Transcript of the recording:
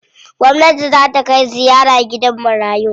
Gwamnati zaa ta kai ziyara gidan marayu.